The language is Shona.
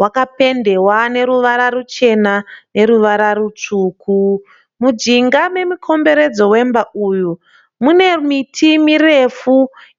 Wakapendewa neruvara ruchena ne ruvara rutsvuku. Mujinga memukomberedzo wemba uyu mune miti mirefu